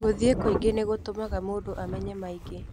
Gũthiĩ kũingĩ nĩ gũtũmaga mũndũ amenye maingĩ.